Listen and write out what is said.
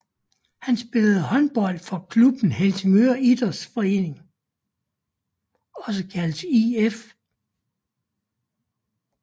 Han spillede håndbold for klubben Helsingør IF